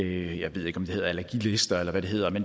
jeg ved ikke om det hedder allergilister eller hvad det hedder